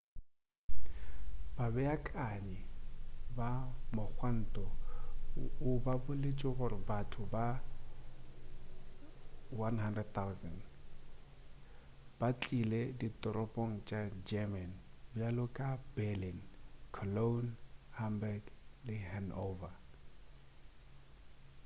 babeakanyi ba mogwanto ba boletše gore batho ba 100,000 ba tlile ditoropong tša german bjalo ka berlin cologne hamburg le hanover